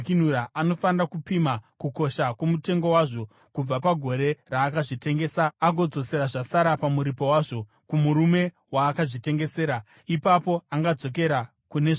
anofanira kupima kukosha kwomutengo wazvo kubva pagore raakazvitengesa, agodzosera zvasara pamuripo wazvo, kumurume waakazvitengesera; ipapo angadzokera kune zvake.